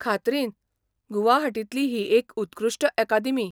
खात्रीन, गुवाहाटींतली ही एक उत्कृश्ट अकादेमी.